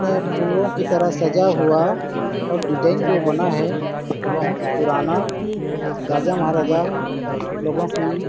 में फूलों की तरह सजा हुआ और डिज़ाइन जो बना है बहोत पुराना राजा-महाराजा लोगो की --